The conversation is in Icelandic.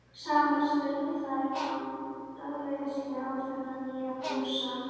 Saman störðu þær í dáleiðslu á þennan nýja Fúsa.